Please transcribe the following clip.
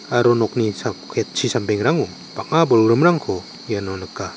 aro nokni sa ketchi sambengrango bang·a bolgrimrangko iano nika.